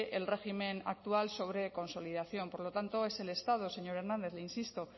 el régimen actual sobre consolidación por lo tanto es el estado señor hernández le insisto